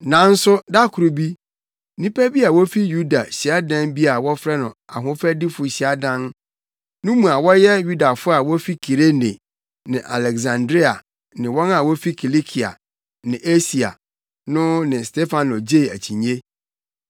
Nanso da koro bi, nnipa bi a wofi Yudafo hyiadan bi a wɔfrɛ no “Ahofadifo Hyiadan” no mu a wɔyɛ Yudafo a wofi Kirene ne Aleksandria ne wɔn a wofi Kilikia ne Asia no ne Stefano gyee akyinnye.